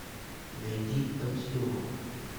найди пансион